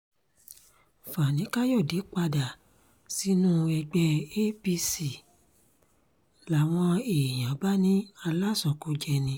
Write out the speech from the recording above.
fani-kàyọ̀dé padà sínú ẹgbẹ́ apc làwọn èèyàn bá ní alásọ̀kòjẹ́ ni